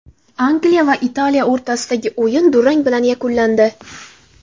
Angliya va Italiya o‘rtasidagi o‘yin durang bilan yakunlandi.